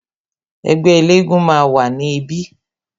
Ẹgbẹ́ elégún máa wà ní ibí